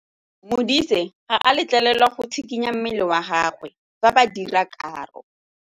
Modise ga a letlelelwa go tshikinya mmele wa gagwe fa ba dira karô.